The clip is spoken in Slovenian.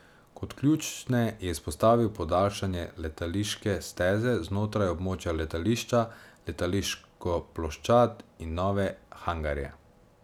Kot ključne je izpostavil podaljšanje letališke steze znotraj območja letališča, letališko ploščad in nove hangarje.